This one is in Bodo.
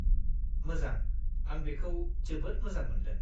-मोजां! आं बेखौ जोबोद मोजां मोनदों।